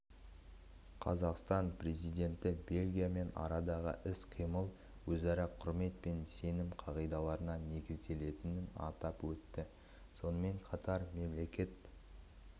қазақстан президенті бельгиямен арадағы іс-қимыл өзара құрмет пен сенім қағидаттарына негізделгенін атап өтті сонымен қатар мемлекет